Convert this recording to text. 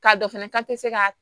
K'a dɔn fɛnɛ k'a tɛ se ka